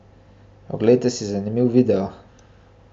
Oglejte si zanimiv video!